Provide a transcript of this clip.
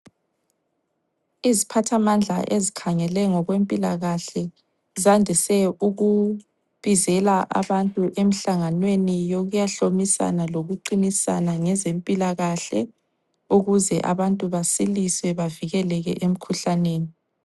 Iziphathamandla ezikhangele ngokwempilakahle, zandise ukubizela abantu emhlanganweni yokuyahlomisana lokuqinisana ngezempilakahle, ukuze abantu basiliswe bavikeleke emkhuhlaneni.